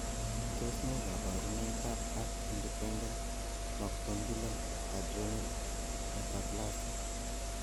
Tos ne kaborunoikab acth independent macronodular adrenal hyperplasia?